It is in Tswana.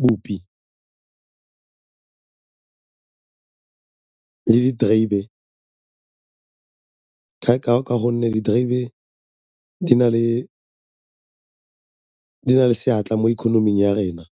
bopi le diterebe ka gonne diterebe di na le seatla mo ikonoming ya rena.